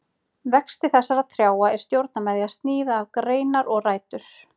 Vexti þessara trjáa er stjórnað með því að sníða af greinar og rætur.